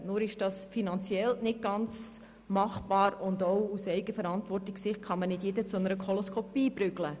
Nur ist das finanziell nicht ganz machbar und auch aus Sicht der Eigenverantwortung kann man nicht Jeden zur Koloskopie prügeln.